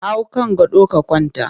Hau kan gado ka kwanta!